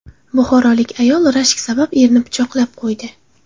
Buxorolik ayol rashk sabab erini pichoqlab qo‘ydi.